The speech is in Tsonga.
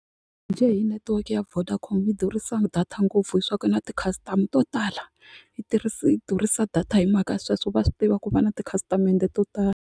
Njhe hi netiweke ya Vodacom yi durhisa data ngopfu hi swa ku na ti-customer to tala yi yi durhisa data hi mhaka ya sweswo va swi tiva ku va na tikhasitamende to tala.